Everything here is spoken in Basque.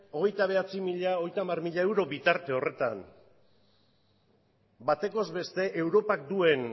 hogeita bederatzizero hogeita hamarzero euro bitarte horretan batekoz beste europak duen